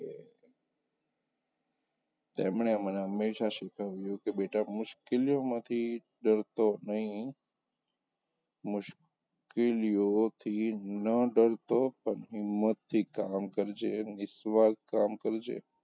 તેમણે મને હંમેશાં શીખવ્યું કે બેટા મુશ્કેલીઓ માંથી ડરતો નહીં મુશ્કેલીઓથી ના ડરતો પણ હિંમતથી કામ કરજે, નિસ્વાર્થ કામ કરજે.